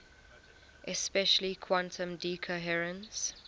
especially quantum decoherence